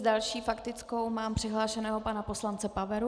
S další faktickou mám přihlášeného pana poslance Paveru.